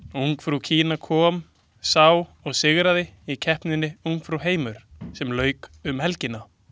Ungfrú Kína kom, sá og sigraði í keppninni Ungfrú heimur sem lauk um helgina.